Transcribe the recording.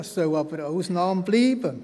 Dies soll aber eine Ausnahme bleiben.